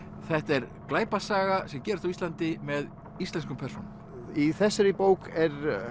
þetta er glæpasaga sem gerist á Íslandi með íslenskum persónum í þessari bók er